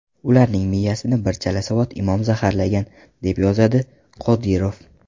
Ularning miyasini bir chalasavod imom zaharlagan”, deb yozadi Qodirov.